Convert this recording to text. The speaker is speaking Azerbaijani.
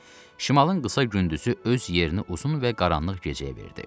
Şimalın qısa gündüzü öz yerini uzun və qaranlıq gecəyə verdi.